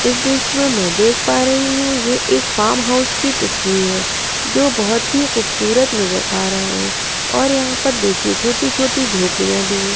इस दृश्य में मैं देख पा रही हू ये एक फार्म हाउस की तस्वीर है जो बहुत ही खूबसूरत नजर आ रहा है और यहा पर देखिये छोटी छोटी झोपड़ियां भी है।